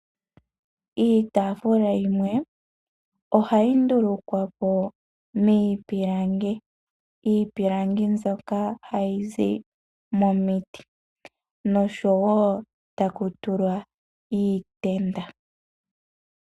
Iitafula yimwe ohayi ndulukwapo miipilangi. Iipilangi mbyoka hayi zi momiiti noshowo taku tulwa iitenda.